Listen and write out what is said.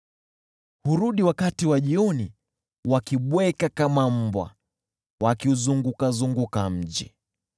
Hurudi wakati wa jioni, wakibweka kama mbwa, wakiuzurura mji.